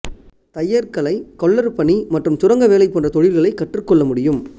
தையற்கலை கொல்லர் பணி மற்றும் சுரங்க வேலை போன்ற தொழில்களை கற்றுக் கொள்ள முடியும்